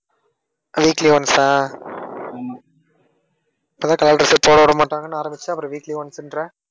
weekly once ஆ இப்பதான் color dress யே போட விடமாட்டாங்கன்னு ஆரம்பிச்சா அப்புறம் weekly once ன்ற.